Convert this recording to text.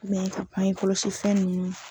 an ye kɔlɔsi fɛn ninnu na.